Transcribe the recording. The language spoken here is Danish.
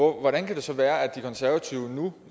hvordan kan det så være at de konservative nu